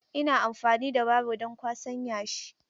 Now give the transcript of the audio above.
Ina amfani da baro don kwasan yashi.